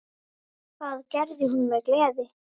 Það gerði hún með gleði.